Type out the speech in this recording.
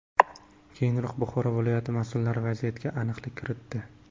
Keyinroq Buxoro viloyati mas’ullari vaziyatga aniqlik kiritdi.